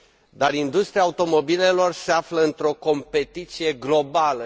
Dar industria automobilelor se află într o competiție globală.